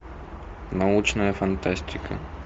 научная фантастика